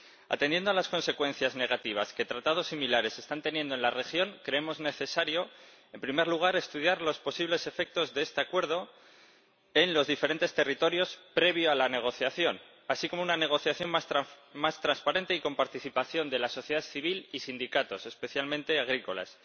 Atendiendo a las consecuencias negativas que tratados similares están teniendo en la región, creemos necesario, en primer lugar, estudiar los posibles efectos de este Acuerdo en los diferentes territorios previamente a la negociación, así como una negociación más transparente y con participación de la sociedad civil y sindicatos, especialmente agrícolas